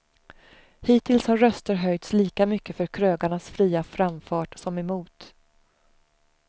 Hittills har röster höjts lika mycket för krögarnas fria framfart som emot.